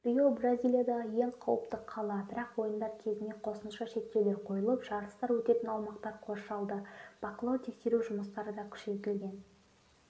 рио бразилиядағы ең қауіпті қала бірақ ойындар кезінде қосымша шектеулер қойылып жарыстар өтетін аумақтар қоршалды бақылау-тексеру жұмыстары да күшейтілген